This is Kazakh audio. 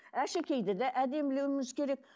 әшекейді де әдемілеуіміз керек